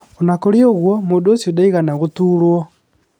O na kũrĩ ũguo, mũndũ ũcio ndaigana gũtuurũo.